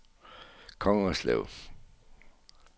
Kongerslev